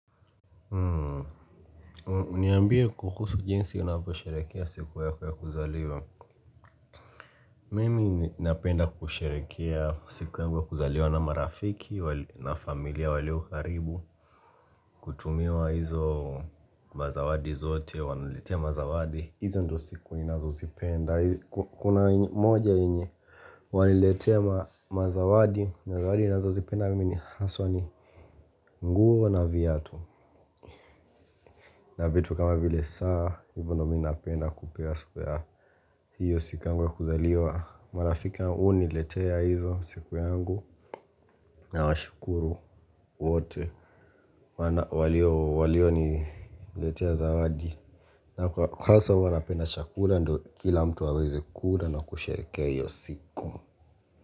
Niambie kuhusu jinsi unavyo sherekea siku yako ya kwe kuzaliwa mimi napenda kusherekea siku ya kuzaliwa na marafiki na familia walio karibu kutumiwa hizo mazawadi zote wananiletea mazawadi hizo ndio siku ninazozipenda kuna moja yenye waliniletea mazawadi na zawadi ninazozipenda mimi haswa ni nguo na viatu na vitu kama vile saa hivo ndo minapenda kupewa siku ya hiyo siku yangu ya kuzaliwa. Marafiki huniletea hizo siku yangu na washukuru wote walio niletea zawadi. Na kwa hasa huwanapenda chakula ndo kila mtu aweze kula na kusherekea hiyo siku.